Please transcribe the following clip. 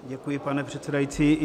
Děkuji, pane předsedající.